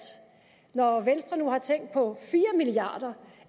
når venstre nu har tænkt på fire milliard kr